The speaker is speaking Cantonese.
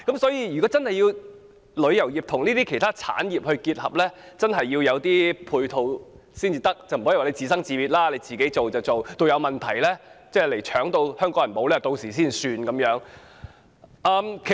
所以，如果旅遊業要與其他產業結合，政府真的需要提供配套，不可以任其自由發展，到有關藥品被搶購以至影響到香港人，才解決問題。